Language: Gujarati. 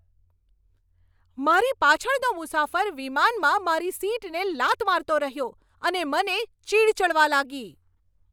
મારી પાછળનો મુસાફર વિમાનમાં મારી સીટને લાત મારતો રહ્યો અને તે મને ચીઢ ચડવા લાગી.